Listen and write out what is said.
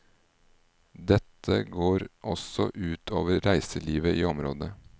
Dette går også ut over reiselivet i området.